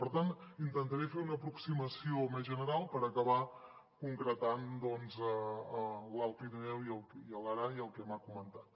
per tant intentaré fer una aproximació més general per acabar ho concretant doncs en l’alt pirineu i l’aran i el que m’ha comentat